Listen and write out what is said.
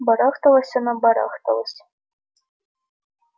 барахталась она барахталась